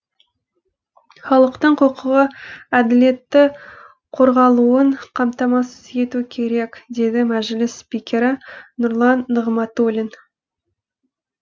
халықтың құқығы әділетті қорғалуын қамтамасыз ету керек деді мәжіліс спикері нұрлан нығматулин